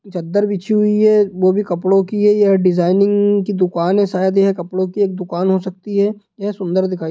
चद्दर बिछी हुई है वो भी कपड़ो की है यह डिज़ाइनिंग की दुकान है शायद यह कपड़ो की एक दुकान हो सकती है यह सुंदर दिखाई दे--